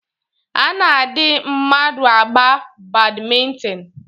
A na-adị mmadụ agba Badmịntịn